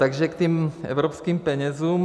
Takže k těm evropským penězům.